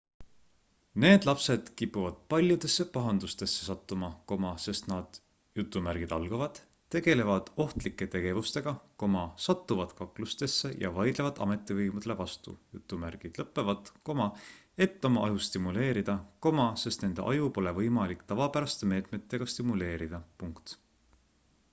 need lapsed kipuvad paljudesse pahandustesse sattuma sest nad tegelevad ohtlike tegevustega satuvad kaklustesse ja vaidlevad ametivõimudele vastu et oma aju stimuleerida sest nende aju pole võimalik tavapäraste meetmetega stimuleerida